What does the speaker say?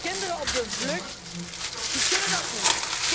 Kinderen op de vlucht, die kunnen dat niet.